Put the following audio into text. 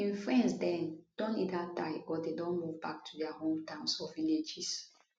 im friends den don either die or dem don move back to dia hometowns or villages